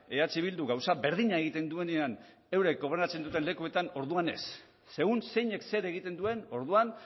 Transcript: eh bildu gauza berdina egiten duenean euren gobernatzen duten lekuetan orduan ez segun zeinek zer egiten duen orduan